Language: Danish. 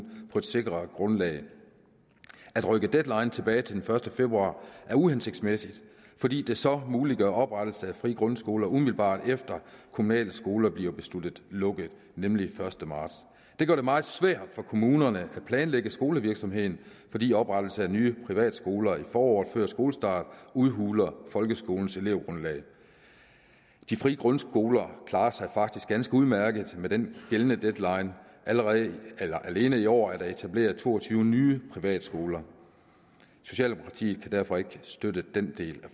på et sikrere grundlag at rykke deadline tilbage til den første februar er uhensigtsmæssigt fordi det så muliggør oprettelse af frie grundskoler umiddelbart efter at kommunale skoler bliver besluttet lukket nemlig den første marts det gør det meget svært for kommunerne at planlægge skolevirksomheden fordi oprettelse af nye privatskoler i foråret før skolestart udhuler folkeskolens elevgrundlag de frie grundskoler klarer sig faktisk ganske udmærket med den gældende deadline alene i år er der etableret to og tyve nye privatskoler socialdemokratiet kan derfor ikke støtte den del